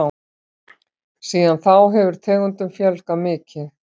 Síðan þá hefur tegundum fjölgað mikið.